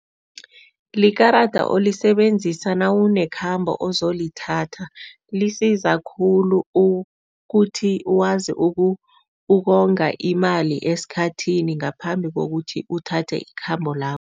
Likarada olisebenzisa nawunekhambo ozolithatha. Lisiza khulu ukuthi wazi ukonga imali esikhathini ngaphambi kokuthi uthathe ikhambo lakho.